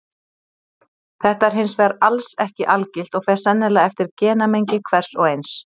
Þetta er hins vegar alls ekki algilt og fer sennilega eftir genamengi hvers og eins.